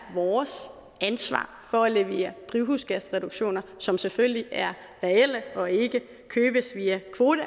vores ansvar for at levere drivhusgasreduktioner som selvfølgelig er reelle og ikke købes via kvoter